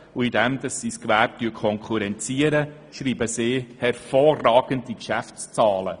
Auch dadurch, dass sie das Gewerbe konkurrenziert, schreibt sie hervorragende Geschäftszahlen.